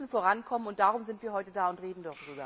Wir müssen vorankommen, und darum sind wir heute da und reden